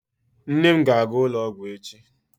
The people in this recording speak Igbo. Nne m ga-aga ụlọ ọgwụ echi.